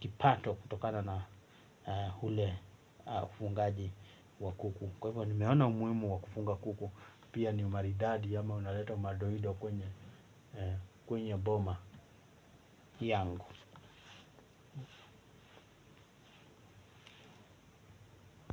kipato kutokana na ule ufungaji wa kuku. Kwa hivyo nimeona umuhimu wa kufunga kuku, pia ni umaridadi ama unaleta madoido kwenye kwenye boma yangu.